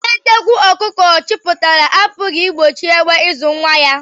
Anya nnekwụ ọkụkọ chapụtara apụghị igbochi egbe izu nwa ya.